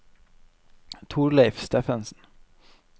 Torleiv Steffensen